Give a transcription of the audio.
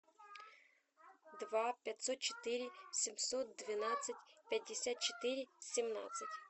два пятьсот четыре семьсот двенадцать пятьдесят четыре семнадцать